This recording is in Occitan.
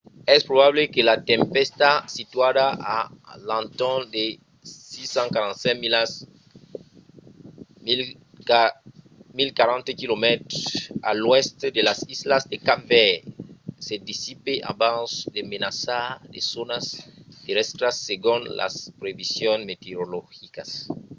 es probable que la tempèsta situada a l'entorn de 645 milas 1040 km a l'oèst de las islas de cap verd se dissipe abans de menaçar de zònas terrèstras segon las previsions meteorologicas